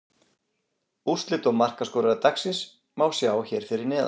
Úrslit og markaskorara dagsins má sjá hér fyrir neðan.